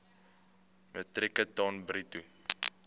metrieke ton bruto